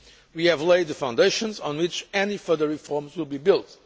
We have laid the foundations on which any further reforms will be built.